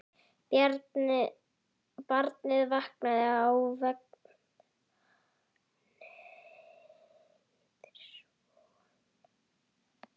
Barnið vaknaði í vagninum.